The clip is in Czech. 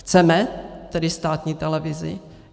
Chceme tedy státní televizi?